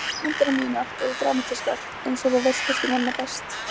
Allar myndirnar mínar eru dramatískar einsog þú veist kannski manna best.